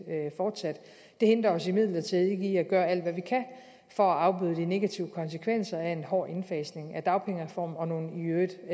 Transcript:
fortsat det hindrer os imidlertid ikke i at gøre alt hvad vi kan for at afbøde de negative konsekvenser af en hård indfasning af dagpengereformen og nogle i øvrigt